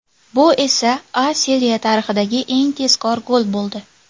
Bu esa A Seriya tarixidagi eng tezkor gol bo‘ldi.